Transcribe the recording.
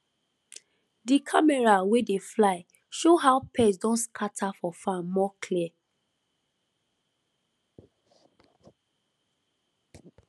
di camera wey dey fly show how pest don scatter for farm more clear